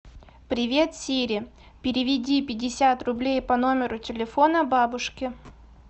привет сири переведи пятьдесят рублей по номеру телефона бабушке